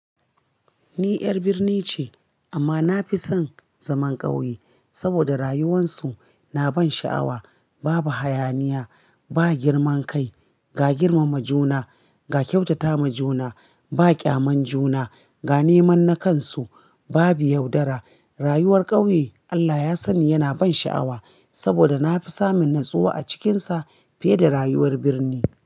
Ni 'yar birni ce amma na fi son zaman ƙauye saboda rayuwarsu na ban sha'awa, babu hayaniya, ba girman kai, ga girmama juna, ga kyautata ma juna, ba ƙyaman juna, ga neman nakansu, babu yaudara. Rayuwar ƙauye Allah ya sani yana ban sha'awa saboda na fi samun natsuwa a cikinsa fiye da rayuwar birni.